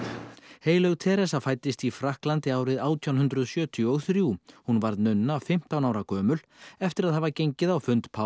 heilög fæddist í Frakklandi árið átján hundruð sjötíu og þrjú hún varð nunna fimmtán ára gömul eftir að hafa gengið á fund páfa